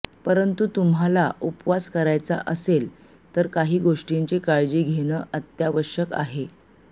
परंतू तुम्हांला उपवास करायचा असेलच तर काही गोष्टींची काळजी घेणं अत्यावश्यक आहे